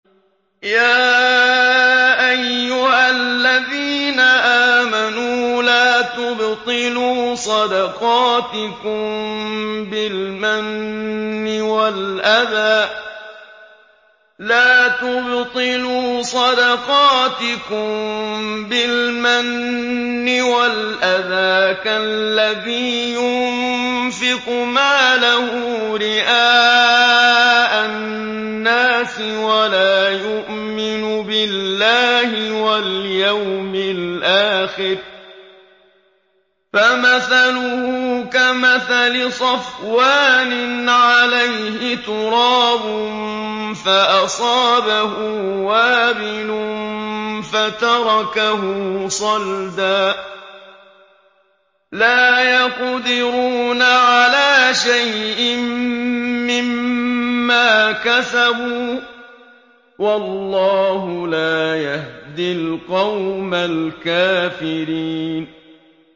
يَا أَيُّهَا الَّذِينَ آمَنُوا لَا تُبْطِلُوا صَدَقَاتِكُم بِالْمَنِّ وَالْأَذَىٰ كَالَّذِي يُنفِقُ مَالَهُ رِئَاءَ النَّاسِ وَلَا يُؤْمِنُ بِاللَّهِ وَالْيَوْمِ الْآخِرِ ۖ فَمَثَلُهُ كَمَثَلِ صَفْوَانٍ عَلَيْهِ تُرَابٌ فَأَصَابَهُ وَابِلٌ فَتَرَكَهُ صَلْدًا ۖ لَّا يَقْدِرُونَ عَلَىٰ شَيْءٍ مِّمَّا كَسَبُوا ۗ وَاللَّهُ لَا يَهْدِي الْقَوْمَ الْكَافِرِينَ